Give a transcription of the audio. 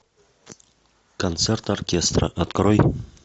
концерт оркестра открой